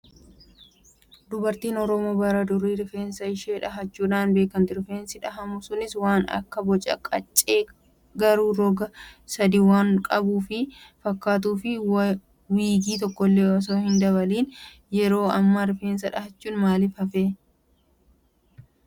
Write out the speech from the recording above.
Dubartiin oromoo bara durii rifeensa ishee dhahachuun beekamti. Rifeensa dhahamu suni waan akka boca qaccee garuu roga sadii waan qabu kan fakkaatuu fi wiigii tokkollee osoo hin dabaliini. Yeroo ammaa rifeensa dhahachuun maaliif hafee?